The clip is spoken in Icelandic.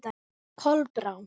Kolbrá